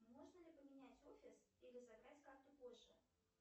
можно ли поменять офис или забрать карту позже